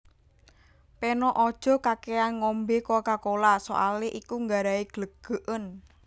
Peno ojo kakekan ngombe Coca Cola soale iku nggarai glegeken